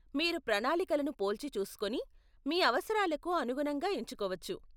మీరు ప్రణాళికలను పోల్చిచూసుకోని మీ అవసరాలకు అనుగుణంగా ఎంచుకోవచ్చు.